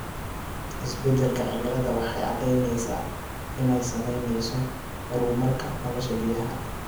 Isbeddelka cimiladu waxay caddaynaysaa inay saameynayso horumarka nolosha biyaha.